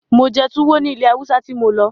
Mo jẹ́ tuwo ní ilẹ̀ Haúsá tí mo lọ.